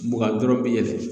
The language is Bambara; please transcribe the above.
Mugan dɔrɔn bɛ yɛlɛ.